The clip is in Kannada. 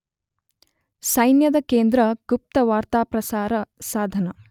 ಸೈನ್ಯದ ಕೇಂದ್ರ, ಗುಪ್ತ ವಾರ್ತಾಪ್ರಸಾರ ಸಾಧನ